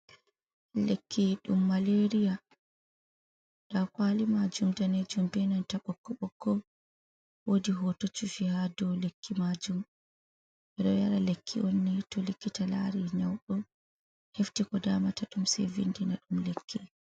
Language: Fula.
Lekki ɗum malariya nder kwali majum, danejum benan ta ɓokko-ɓokko. Wodi hoto chufi ha dau lekki majum ɓe ɗo yara lekki on ni to likita lari nyaudo hefti ko damata ɗum sei vindina ɗum lekki.